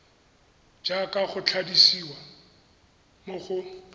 jaaka go tlhalosiwa mo go